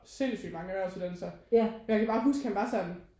Sindssygt mange erhvervsuddannelser jeg kan bare huske han var sådan